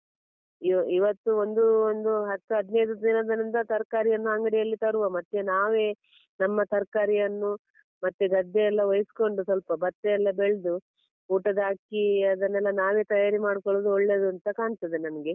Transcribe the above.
ಇವ~ ಇವತ್ತು ಒಂದು ಒಂದು ಹತ್ತು ಹದ್ನೈದು ದಿನಗಳಿಂದ ತರ್ಕಾರಿಯನ್ನ ಅಂಗಡಿಯಲ್ಲಿ ತರುವ ಮತ್ತೆ ನಾವೇ ನಮ್ಮ ತರಕಾರಿಯನ್ನು ಮತ್ತೆ ಗದ್ದೆ ಎಲ್ಲ ವಹಿಸ್ಕೊಂಡು ಸ್ವಲ್ಪ ಭತ್ತ ಎಲ್ಲ ಬೆಳ್ದು ಊಟದ ಅಕ್ಕಿ ಅದನ್ನೆಲ್ಲಾ ನಾವೇ ತಯಾರಿ ಮಾಡ್ಕೊಳ್ಳುದು ಒಳ್ಳೆದು ಅಂತ ಕಾಣ್ತದೆ ನನ್ಗೆ.